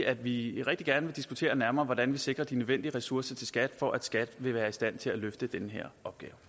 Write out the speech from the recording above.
at vi rigtig gerne vil diskutere nærmere hvordan vi sikrer de nødvendige ressourcer til skat for at skat vil være i stand til at løfte den her